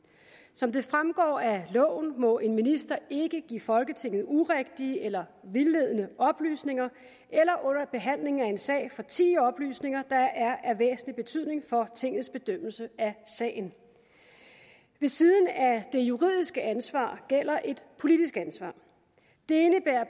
som det fremgår af loven må en minister ikke give folketinget urigtige eller vildledende oplysninger eller under behandlingen af en sag fortie oplysninger der er af væsentlig betydning for tingets bedømmelse af sagen ved siden af det juridiske ansvar gælder et politisk ansvar det indebærer